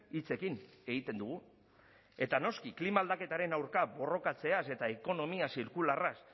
hitzekin egiten dugu eta noski klima aldaketaren aurka borrokatzeaz eta ekonomia zirkularraz